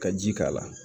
Ka ji k'a la